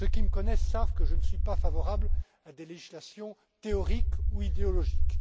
entreprises. Ceux qui me connaissent savent que je ne suis pas favorable à des législations théoriques ou idéologiques.